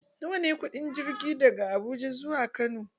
Nawa ne kuɗin jirgi daga Abuja zuwa Kano?